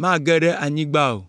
mage ɖe anyigba o.